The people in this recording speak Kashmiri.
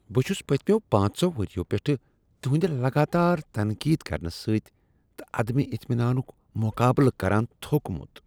بہٕ چھس پٔتمیو پانژو ؤریو پیٹھٕ تہندِ لگاتار تنقید کرنہ سۭتۍ تہٕ عدم اطمینانک مقابلہٕ کران تھوٚکمت۔